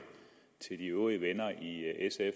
de øvrige venner i sf